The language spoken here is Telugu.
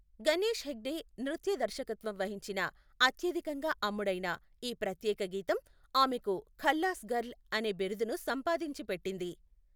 గణేష్ హెగ్డే నృత్య దర్శకత్వం వహించిన, అత్యధికంగా అమ్ముడైన ఈ ప్రత్యేక గీతం ఆమెకు 'ఖల్లాస్ గర్ల్' అనే బిరుదును సంపాదించి పెట్టింది.